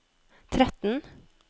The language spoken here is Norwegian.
tretten